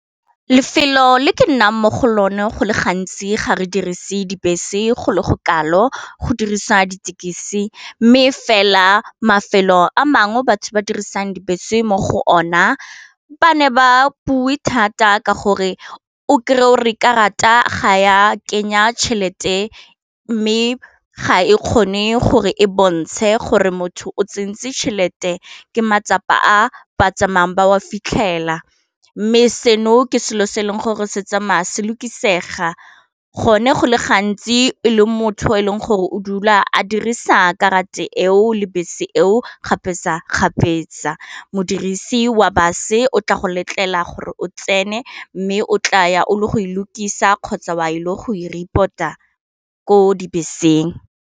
Lefelo le ke nnang mo go lone go le gantsi ga re dirise dibese go le go kalo go dirisa ditekisi mme fela mafelo a mangwe batho ba dirisang dibese mo go ona ba ne ba bue thata ka gore o kry-e o re karata ga ya kenya tšhelete mme ga e kgone gore e bontshe gore motho o tsentse tšhelete ke matsapa a ba tsamayang ba wa fitlhela mme seno ke selo se e leng gore se tsamaya se lokisega gone go le gantsi e le motho yo e leng gore o dula a dirisa karate eo le bese eo gape sa kgapetsa modirisi wa base o tla go letlela gore o tsene mme o tla ya o le go hlokisa kgotsa wa ile go i reporta ko dibeseng.